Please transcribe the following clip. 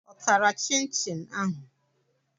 Ọ tara Chinchin ahụ?